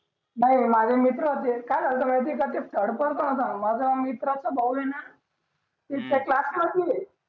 नाही रे माझे मित्र होते काय झालं माहित हे का थर्ड पोरग होत माझा मित्राचा भाऊ हे ना त्या क्लास मधीच हे